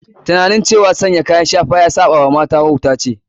Tunanin cewa sanya kayan shafa ya saba wa mata wauta ce.